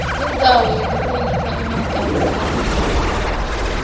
indzawo yekutsengisa emacansi lalukiwe